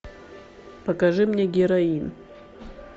покажи мне героин